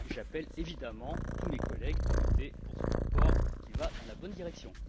J'appelle évidemment tous mes collègues à voter pour ce rapport qui va dans la bonne direction.